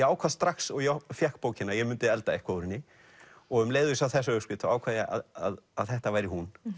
ákvað strax og ég fékk bókina að ég mundi elda eitthvað úr henni og um leið og ég sá þessa upskrift ákvað ég að þetta væri hún